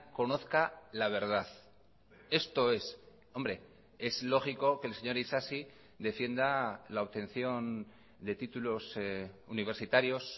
conozca la verdad esto es hombre es lógico que el señor isasi defienda la obtención de títulos universitarios